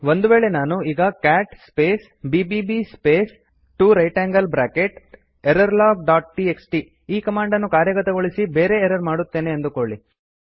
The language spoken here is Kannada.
ಒಂದು ವೇಳೆ ನಾನು ಈಗ cat space BBB space 2 right angled bracket error log dot TXT ಈ ಕಮಾಂಡ್ ಕಾರ್ಯಗತಗೊಳಿಸಿ ಬೇರೆ ಎರರ್ ಮಾಡುತ್ತೇನೆ ಅಂದುಕೊಳ್ಳಿ